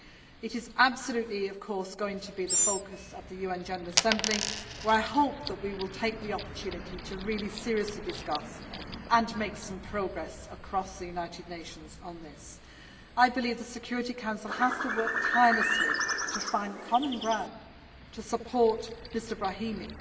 It is absolutely going to be the focus of the UN General Assembly, where I hope we will take the opportunity to seriously discuss and make some progress across the United Nations on this. I believe the Security Council has to work tirelessly to find common ground to support Mr Brahimi.